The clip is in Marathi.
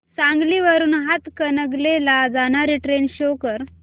सांगली वरून हातकणंगले ला जाणारी ट्रेन शो कर